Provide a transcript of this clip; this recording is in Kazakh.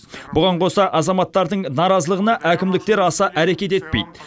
бұған қоса азаматтардың наразылығына әкімдіктер аса әрекет етпейді